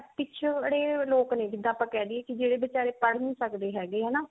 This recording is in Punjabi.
ਪਿਛੜੇ ਲੋਕਾ ਨੇ ਜਿਦਾਂ ਆਪਾਂ ਕਿਹ ਦੀਏ ਕੀ ਜਿਹੜੇ ਬਚਾਰੇ ਪੜ੍ਹ ਨੀ ਸਕਦੇ ਹੈਗੇ ਹਨਾ